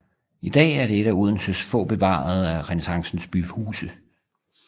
I dag er det et af Odenses få bevarede renæssancens byhuse